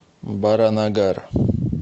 баранагар